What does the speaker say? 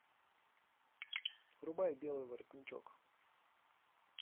врубай белый воротничок